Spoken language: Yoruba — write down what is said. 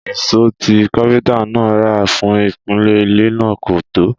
Ìṣó tí Kápẹ́ntà náà rà fún ìpìlẹ̀ ilé náà kò tó